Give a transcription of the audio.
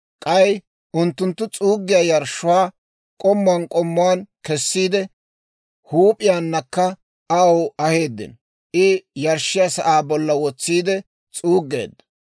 K'ay unttunttu s'uuggiyaa yarshshuwaa k'ommuwaan k'ommuwaan kessiide, huup'iyaanakka aw aheeddino; I yarshshiyaa sa'aa bollan wotsiide s'uuggeedda.